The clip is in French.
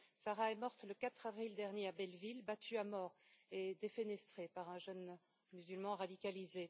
Sarah est morte le 4 avril dernier, à Belleville, battue à mort et défenestrée par un jeune musulman radicalisé.